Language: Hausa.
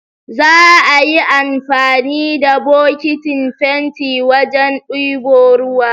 Za'a yi anfani da bokitin fentin wajen ɗebo ruwa.